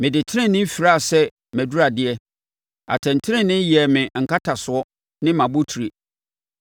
Mede tenenee firaa sɛ mʼaduradeɛ; atɛntenenee yɛɛ me nkatasoɔ ne mʼabotire.